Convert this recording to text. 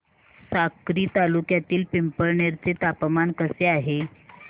साक्री तालुक्यातील पिंपळनेर चे तापमान कसे आहे